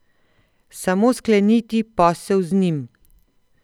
Samo skleniti posel z njim.